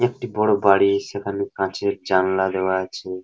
একটি বড় বাড়ি সেখানে কাঁচের জানলা দেওয়া আছে।